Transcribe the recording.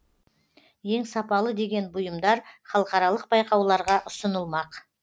ең сапалы деген бұйымдар халықаралық байқауларға ұсынылмақ